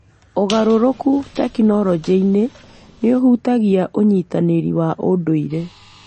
Ũgarũrũku tekinoronjĩ-inĩ nĩ ũhutagia ũnyitanĩri wa ũndũire.